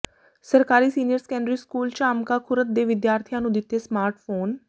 ਸਰਕਾਰੀ senior secondary school Jhamka Khurd ਦੇ ਵਿਦਿਆਰਥੀਆਂ ਨੂੰ ਦਿੱਤੇ ਸਮਾਰਟ ਫੋਨ